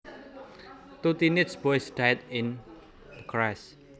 Two teenage boys died in the crash